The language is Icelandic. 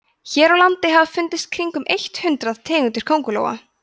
hér á landi hafa fundist í kringum eitt hundruð tegundir köngulóa